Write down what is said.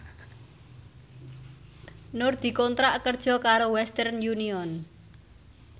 Nur dikontrak kerja karo Western Union